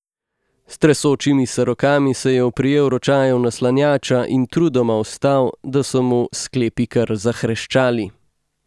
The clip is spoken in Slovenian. S tresočimi se rokami se je oprijel ročajev naslanjača in trudoma vstal, da so mu sklepi kar zahreščali.